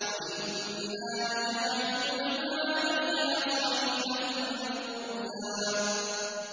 وَإِنَّا لَجَاعِلُونَ مَا عَلَيْهَا صَعِيدًا جُرُزًا